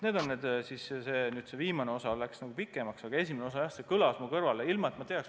Mu jutt läks nüüd pikemaks, aga mis puutub esimesse küsimusse, siis see kõlas mu kõrvale võõralt.